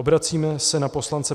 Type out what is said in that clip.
Obracíme se na poslance